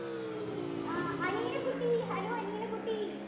ആഹ് അനീന കുട്ടി hello അനീന കുട്ടി